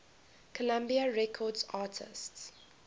columbia records artists